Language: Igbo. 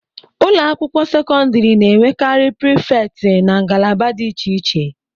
ụlọ akwụkwọ sekọndrị na-enwekarị prịfet na ngalaba dị iche iche